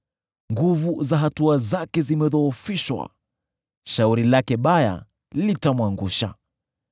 Nguvu za hatua zake zimedhoofishwa; shauri lake baya litamwangusha.